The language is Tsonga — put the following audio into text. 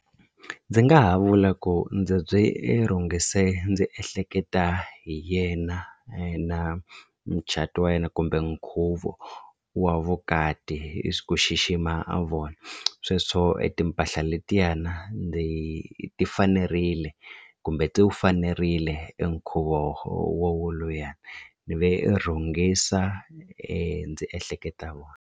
Ndzi nga ha vula ku ndzi byi i rhungise ndzi ehleketa hi yena na mucato wa yena kumbe nkhuvo wa vukati hi ku xixima a vona sweswo i timpahla letiyana ndzi ti fanerile kumbe ti wu fanerile enkhuvo wowoluya ni ve rhungisa ndzi ehleketa vona.